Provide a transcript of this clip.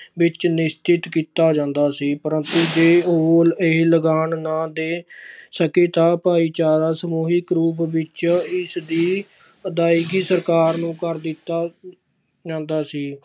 ਵਿੱਚ ਨਿਸ਼ਚਿਤ ਕੀਤਾ ਜਾਂਦਾ ਸੀ ਪ੍ਰੰਤੂ ਜੇ ਉਹ ਇਹ ਲਗਾਨ ਨਾ ਦੇ ਸਕੇ ਤਾਂ ਭਾਈਚਾਰਾ ਸਮੂਹਿਕ ਰੂਪ ਵਿੱਚ ਇਸਦੀ ਅਦਾਇਗੀ ਸਰਕਾਰ ਨੂੰ ਕਰ ਦਿੱਤਾ ਜਾਂਦਾ ਸੀ।